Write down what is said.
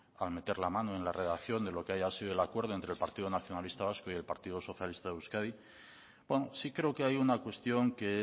al meter la mano en la redacción de lo que haya sido el acuerdo entre el partido nacionalista vasco y el partido socialista de euskadi sí creo que hay una cuestión que